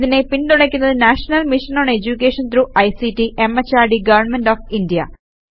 ഇതിനെ പിന്തുണക്കുന്നത് national mission on education through ICT MHRD government of India